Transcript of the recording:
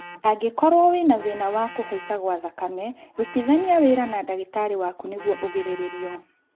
Angĩkorwo wĩna thĩna wa kũhaica gwa thakame rutithania wĩra na ndagĩtarĩ waku nĩguo ũgĩrĩrĩrio